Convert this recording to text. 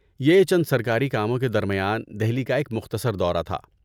یہ چند سرکاری کاموں کے درمیان دہلی کا ایک مختصر دورہ تھا۔